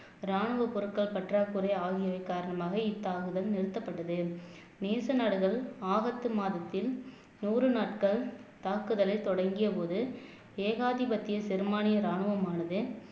ராணுவ பொருட்கள் பற்றாக்குறை ஆகியவை காரணமாக இத்தாக்குதல் நிறுத்தப்பட்டது நேச நாடுகள் ஆபத்து மாதத்தில் நூறு நாட்கள் தாக்குதலை தொடங்கியபோது ஏகாதிபத்திய சிறுமானிய ராணுவமானது